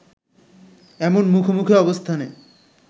এমন মুখোমুখি অবস্থানে